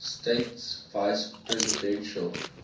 states vice presidential